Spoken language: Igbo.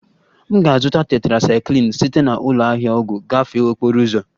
M ga-azụta tetrasaikilin site na ụlọ ahịa ọgwụ gafee okporo ụzọ